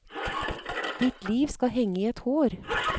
Ditt liv skal henge i et hår.